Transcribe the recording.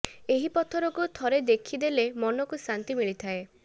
ଏହି ପଥରକୁ ଥରେ ଦେଖି ଦେଲେ ମନକୁ ଶାନ୍ତି ମିଳିଥାଏ